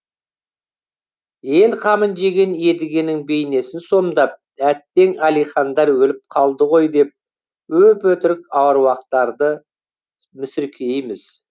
ел қамын жеген едігенің бейнесін сомдап әттең әлихандар өліп қалды ғой деп өп өтірік аруақтарды мүсіркейміз